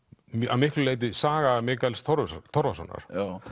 að miklu leyti saga Mikaels Torfasonar Torfasonar